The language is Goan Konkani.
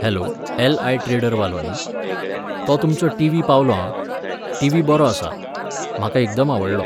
Hello LI. ट्रेडर वालो न्ही? तो तुमचो टिव्ही पावलो आं. टीव्ही बरो आसा. म्हाका एकदम आवडलो